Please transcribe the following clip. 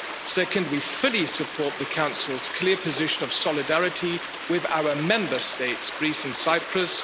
Second, we fully support the Council's clear position of solidarity with our Member States, Greece and Cyprus.